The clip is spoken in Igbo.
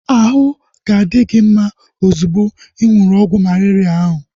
Ahụ ga-adi gị mma ozugbo ị ṅụrụ ọgwụ malaria ahu